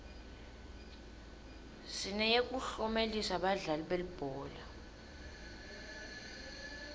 sineyekuklomelisa badlali belibhola